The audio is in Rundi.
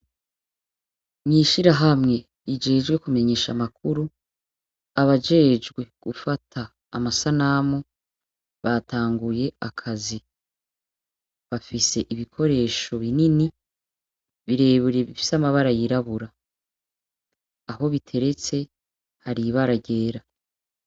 Mwishirahamwa rijejwe kumenyesha amakuru abajejwe gufata amasanamu batanguye akazi bafise ibikoresho binini bire bire bifise amabara yirabura aho biteretse hari ibara ryera.